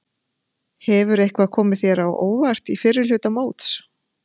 Hefur eitthvað komið þér á óvart í fyrri hluta móts?